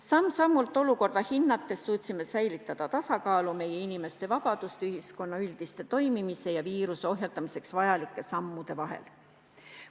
Samm-sammult olukorda hinnates suutsime säilitada tasakaalu meie inimeste vabaduste, ühiskonna üldise toimimise ja viiruse ohjeldamiseks vajalike sammude vahel.